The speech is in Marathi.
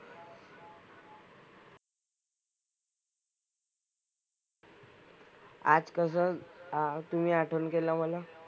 आज कसं तुम्ही आज आठवण केलं मला?